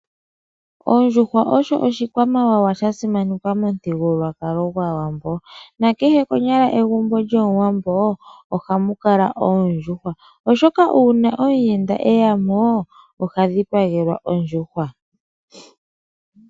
Ondjuhwa osho oshikwamawawa sha simanekwa momuthigululwakalo. Na kehe konyala egumbo lyOmuwambo, ohamu kala oondjuhwa, oshoka uuna omuyenda eya mo, oha dhipagelwa ondjuhwa.